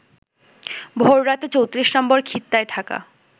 ভোর রাতে ৩৪ নম্বর খিত্তায় থাকা